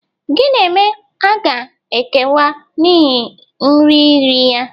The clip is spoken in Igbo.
Gị na Eme a ga-ekewa n'ihi nri riri ya?